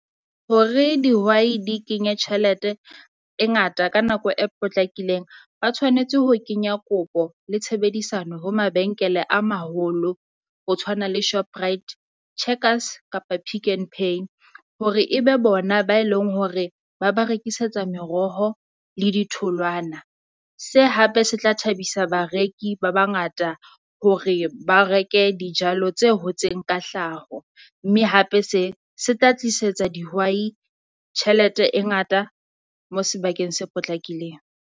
Hore dihwai di kenye tjhelete e ngata ka nako e potlakileng. Ba tshwanetse ho kenya kopo le tshebedisano ho mabenkele a maholo, ho tshwana le Shoprite, Checkers kapa Pick n Pay. Hore e be bona ba e leng hore ba ba rekisetsa meroho le ditholwana. Se hape se tla thabisa bareki ba bangata hore ba reke dijalo tse hotseng ka hlaho, mme hape se se tla tlisetsa dihwai tjhelete e ngata mo sebakeng se potlakileng.